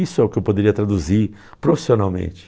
Isso é o que eu poderia traduzir profissionalmente.